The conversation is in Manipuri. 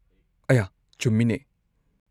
ꯑꯌꯥ, ꯆꯨꯝꯃꯤꯅꯦ!